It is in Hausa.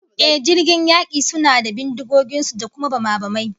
Ehh, jiragen yaki suna da bindigogin su da kuma bamabamai